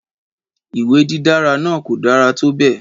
Ìwé dídára náà kò dára tó bẹ́ẹ̀